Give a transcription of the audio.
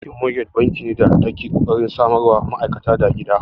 Bankin mogej banki ne da ke kokarin samarwa ma'aikata da gida.